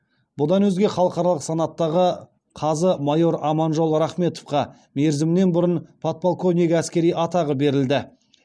бұдан өзге халықаралық санаттағы қазы майор аманжол рахметовқа мерзімінен бұрын подполковник әскери атағы берілді